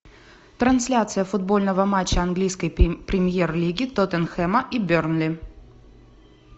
трансляция футбольного матча английской премьер лиги тоттенхэма и бернли